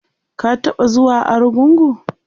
ka taɓa zuwa argungu?